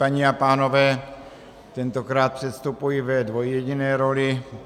Paní a pánové, tentokrát předstupuji ve dvojjediné roli.